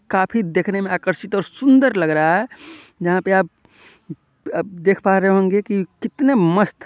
काफी देखने मे आकर्षित और सुंदर लग रहा है यहाँ पे आप देख पा रहे होंगे की कितने मस्त--